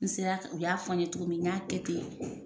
N sera o y'a fɔ n ye cogo min n y'a kɛ ten